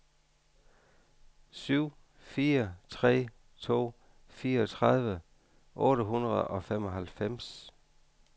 syv fire tre to fireogtredive otte hundrede og halvfems